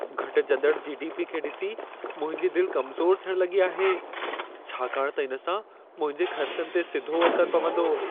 घटिजंदड़ GDP खे ॾिसी मुंहिंजी दिलि कमज़ोर थियण लॻी आहे, छाकाणि त इन सां मुंहिंजे ख़र्चनि ते सिधो असर पवंदो।